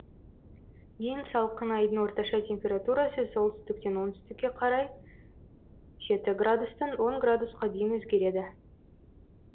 ең салқын айдың орташа температурасы солтүстіктен оңтүстікке қарай жеті градустан он граусқа дейін өзгереді